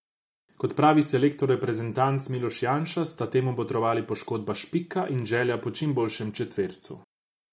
Kot pravi selektor reprezentanc Miloš Janša, sta temu botrovali poškodba Špika in želja po čim boljšem četvercu.